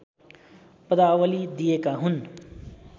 पदावली दिएका हुन्